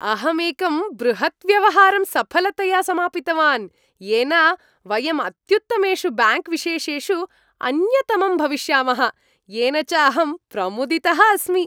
अहम् एकं बृहत् व्यवहारं सफलतया समापितवान् येन वयम् अत्युत्तमेषु ब्याङ्क् विशेषेषु अन्यतमं भविष्यामः, येन च अहं प्रमुदितः अस्मि।